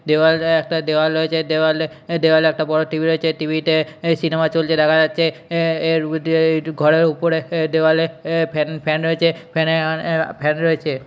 দেয়াল অ্যাঁ একটা দেওয়াল রয়েছে দেওয়ালে দেওয়ালে একটা বড় টি.ভি. রয়েছে টি.ভি. -তে অ্যাঁ সিনেমা চলছে দেখা যাচ্ছে অ্যাঁ এর ভিতরে ঘরের উপরের দেওয়ালে আ ফ্যান ফ্যান রয়েছে ফ্যান -এ ফ্যান রয়েছে।